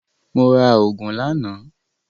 Mo ra ògùn lánàá